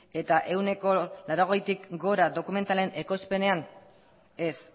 eta ehuneko laurogeitik gora dokumentalen ekoizpenean ez